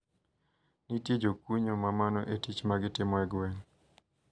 Nitie jokunyo ma mano e tich magitimo e gweng`.